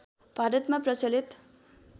भारतमा प्रचलित